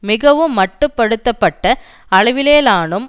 மிகவும் மட்டு படுத்த பட்ட அளவிலேனும்